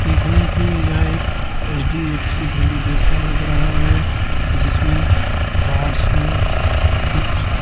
देखने से यह एक एच_डी_एफ_सी बैंक जैसा लग रहा है जिसमें गार्ड्स है कुछ--